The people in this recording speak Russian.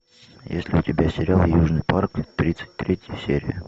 есть ли у тебя сериал южный парк тридцать третья серия